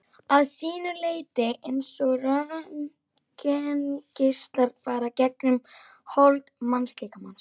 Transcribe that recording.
að sínu leyti eins og röntgengeislar fara gegnum hold mannslíkamans.